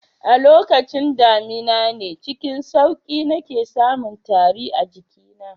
A lokacin damina ne cikin sauki nake samun tari a jikina